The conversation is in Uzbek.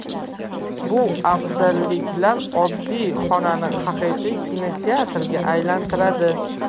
Bu afzalliklar oddiy xonani haqiqiy kinoteatrga aylantiradi.